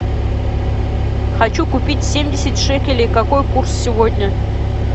хочу купить семьдесят шекелей какой курс сегодня